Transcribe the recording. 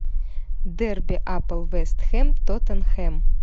дерби апл вест хэм тоттенхэм